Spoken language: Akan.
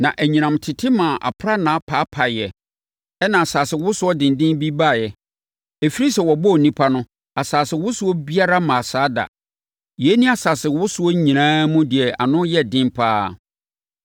Na anyinam tete maa aprannaa paapaeɛ, ɛnna asasewosoɔ denden bi baeɛ. Ɛfirii sɛ wɔbɔɔ onipa no, asasewosoɔ biara mmaa saa da. Yei ne asasewosoɔ nyinaa mu deɛ ano yɛ den pa ara.